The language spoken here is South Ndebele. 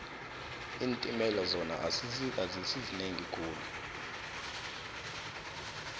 iintimela zona azisizinengi khulu